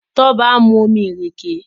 Toba nmu omí ìrèké